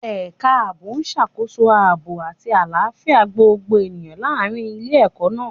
Ẹ̀ka ààbò ń ṣàkóso aaboy àti àlàáfíà gbogbo ènìyàn láàrin ilé-ẹkọ náà